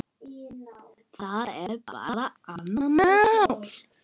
Það er bara annað mál.